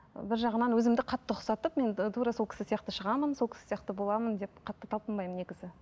бір жағынан өзімді қатты ұқсатып мен тура сол кісі сияқты шығамын сол кісі сияқты боламын деп қатты талпынбаймын негізі